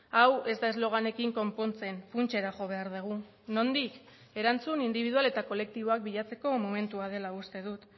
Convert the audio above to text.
hau ez da esloganekin konpontzen funtsera jo behar dugu nondik erantzun indibidual eta kolektiboak bilatzeko momentua dela uste dut